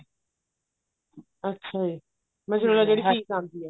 ਅੱਛਾ ਜੀ mozzarella ਜਿਹੜੀ cheese ਆਉਂਦੀ ਹੈ